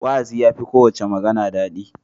Wa'azi ya fi kowace magana daɗi.